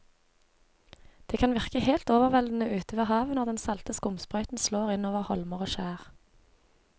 Det kan virke helt overveldende ute ved havet når den salte skumsprøyten slår innover holmer og skjær.